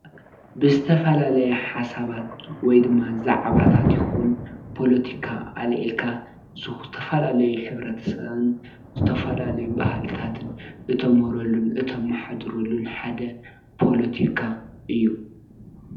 ብዝተፋላለየ ሓሳባት ወይ ዲማ ዛዕባታት ይኩን ፖሎትካ ኣልዒካ ዘተፈላለይ ሕብርተሰብ ዝተፋላለዩ ባህልታትን እተምህርሉን አት መሓዲረሉን ሓደ ፖሎቲካ እዩ፡፡